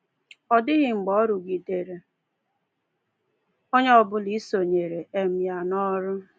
Ọ dịghị mgbe ọ rụgidere onye ọbụla isonyere um ya n’ọrụ a.